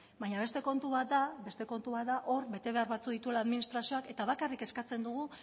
baina beste kontu bat da hor betebehar batzuk dituela administrazioak eta bakarrik eskatzen dugu